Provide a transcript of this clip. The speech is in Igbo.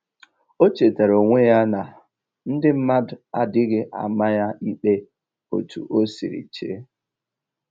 O chetara onwe ya na ndị mmadụ adịghị ama ya ikpe otu o siri chee